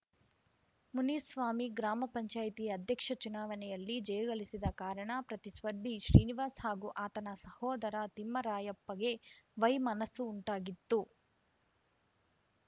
ಮುನಿಸ್ವಾಮಿ ಗ್ರಾಮ ಪಂಚಾಯಿತಿ ಅಧ್ಯಕ್ಷ ಚುನಾವಣೆಯಲ್ಲಿ ಜಯಗಳಿಸಿದ ಕಾರಣ ಪ್ರತಿಸ್ಪರ್ಧಿ ಶ್ರೀನಿವಾಸ್‌ ಹಾಗೂ ಆತನ ಸಹೋದರ ತಿಮ್ಮರಾಯಪ್ಪಗೆ ವೈಮನಸ್ಸು ಉಂಟಾಗಿತ್ತು